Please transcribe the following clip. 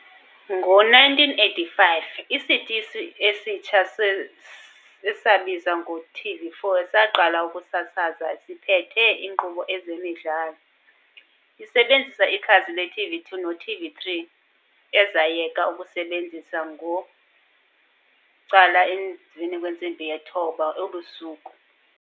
Ngo 1985, isitishi esitsha esabizwa ngoTV4 saqala ukusasaza, siphethe inkqubo ezemidlalo, isebenzisa ikhasi le TV2 no TV3, ezayeka ukusasaza ngo 9:30pm.